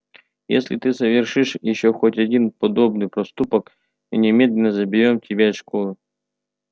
если ты совершишь ещё хоть один подобный проступок мы немедленно заберём тебя из школы